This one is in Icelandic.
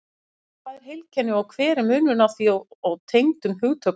Hvað er heilkenni og hver er munurinn á því og tengdum hugtökum?